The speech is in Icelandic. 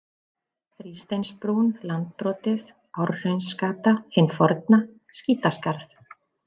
Þrísteinsbrún, Landbrotið, Árhraunsgata hin forna, Skítaskarð